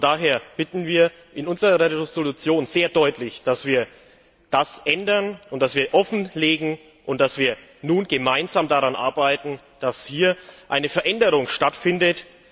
Daher bitten wir in unserer Entschließung sehr deutlich, dass wir das ändern und offenlegen und dass wir nun gemeinsam daran arbeiten, dass hier eine Veränderung stattfindet.